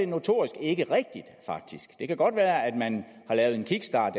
notorisk ikke rigtigt det kan godt være at man har lavet en kickstart